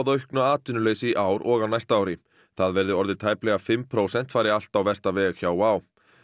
auknu atvinnuleysi í ár og á næsta ári það verði orðið tæplega fimm prósent fari allt á versta veg hjá Wow